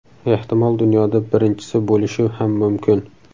Ehtimol dunyoda birinchisi bo‘lishi ham mumkin .